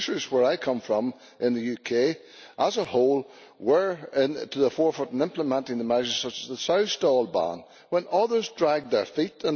Producers where I come from in the UK, as a whole, were to the forefront in implementing measures such as the sow stall ban, while others dragged their feet.